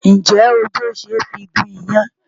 Ǹjẹ́ odó ṣe é fi gún iyán?